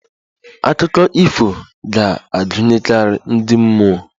Akụkọ ifo ga-agụnyekarị ndi mmụọ